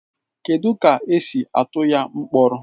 Kedu ka esi atụ ya mkpọrọ